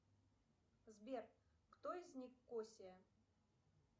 сбер кто из них косия